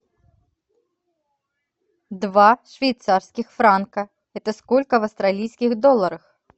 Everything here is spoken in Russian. два швейцарских франка это сколько в австралийских долларах